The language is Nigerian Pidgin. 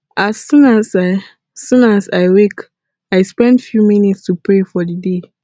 as soon as i soon as i wake i spend few minutes to pray for the day